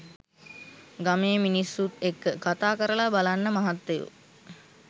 ගමේ මිනිස්‌සුත් එක්‌ක කතා කරලා බලන්න මහත්තයෝ